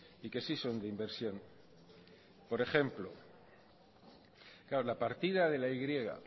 y que sí son de inversión por ejemplo la partida de la y